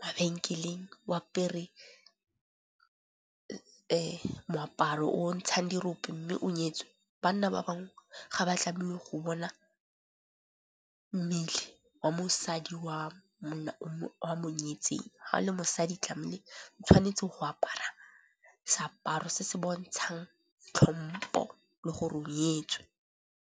mabenkeleng o apere moaparo o ntshang dirope mme o nyetswe. Banna ba bangwe ga ba tlamele go bona mmele wa mosadi wa monna o a monyetseng. Ha o le mosadi tlamele o tshwanetse go apara seaparo se se bontshang tlhompo le go o nyetswe.